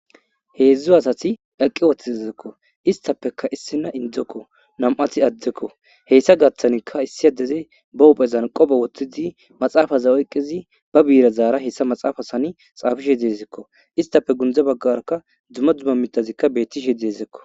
heedzdzu asati eqqi woththi ezekko istappeka issina indzekko nam7ati addekko heyssa gaththanikka issi adeze ba uphezan qoba woththidi maxaafaza oyqqizi ba biira zaara hessa maxaafa sani xaafishe deezekko. istapfe gundza baggarakka dzuma dzuma mitazikka bettishe deezekko.